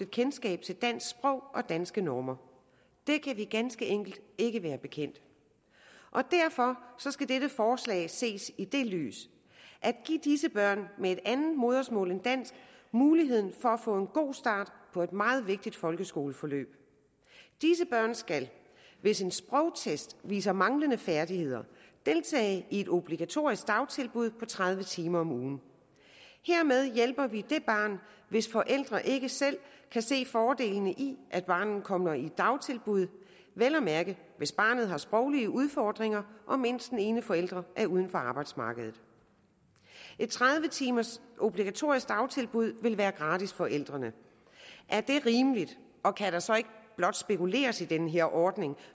kendskab til dansk sprog og danske normer det kan vi ganske enkelt ikke være bekendt og derfor skal dette forslag ses i det lys at give disse børn med et andet modersmål end dansk muligheden for at få en god start på et meget vigtigt folkeskoleforløb disse børn skal hvis en sprogtest viser manglende færdigheder deltage i et obligatorisk dagtilbud på tredive timer om ugen hermed hjælper vi det barn hvis forældre ikke selv kan se fordelene i at barnet kommer i dagtilbud vel at mærke hvis barnet har sproglige udfordringer og mindst den ene forælder er uden for arbejdsmarkedet et tredive timers obligatorisk dagtilbud vil være gratis for forældrene er det rimeligt og kan der så ikke blot spekuleres i den her ordning